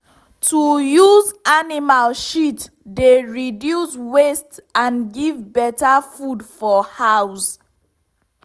to use animal shit dey reduce waste and give better food for house.